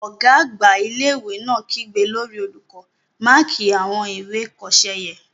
Ọ̀gá àgbà ilé-ìwé náà kígbe lórí olùkọ́, "máàkí àwọn ìwé ìkọsẹ́ yẹn!